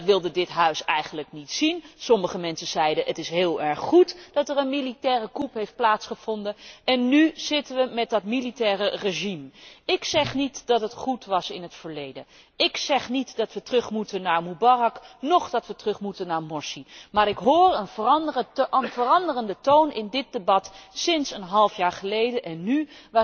Dat wilde dit Huis eigenlijk niet zien. Sommige mensen zeiden Het is heel erg goed dat er een militaire coup heeft plaatsgevonden. En nu zitten wij met dat militaire regime. Ik zeg niet dat het goed was in het verleden. Ik zeg niet dat wij terug moeten naar Mubarak, noch dat wij terug moeten naar Morsi. Maar ik hoor een veranderende toon in dit debat tussen een halfjaar geleden en